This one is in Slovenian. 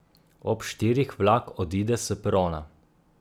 Ob štirih vlak odide s perona.